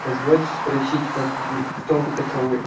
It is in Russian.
позвольте спросить как вы кто вы таковы